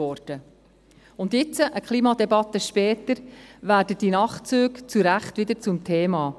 Jetzt, eine Klimadebatte später, werden die Nachtzüge zu Recht wieder zum Thema.